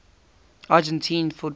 argentine football clubs